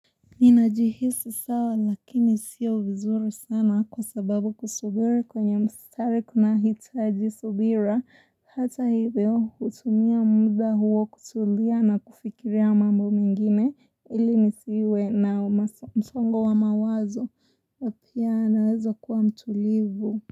Ninajihisi sawa lakini sio vizuri sana kwa sababu kusubiri kwenye mstari kunahitaji subira hata hivyo hutumia muda huo kutulia na kufikiria mambo mengine ili nisiwe na msongo wa mawazo na pia naweza kuwa mtulivu.